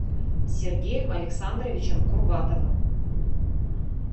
сергеем александровичем курбатовым